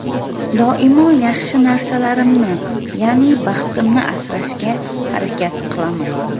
Doimo yaxshi narsalarimni, ya’ni baxtimni asrashga harakat qilaman.